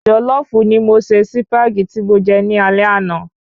Jòlọ́fù ni mo ṣe Sípàgì tí mo je ní alé ana